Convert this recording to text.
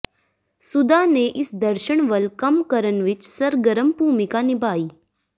ਸੁਧਾ ਨੇ ਇਸ ਦਰਸ਼ਣ ਵੱਲ ਕੰਮ ਕਰਨ ਵਿਚ ਸਰਗਰਮ ਭੂਮਿਕਾ ਨਿਭਾਈ